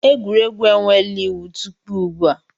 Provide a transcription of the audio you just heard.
Egwuregwu enweela iwu tupu ugbu a.